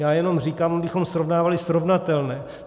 Já jenom říkám, abychom srovnávali srovnatelné.